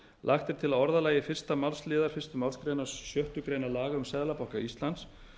lagt er til að orðalagi fyrstu málsl fyrstu málsgrein sjöttu grein laga um seðlabanka íslands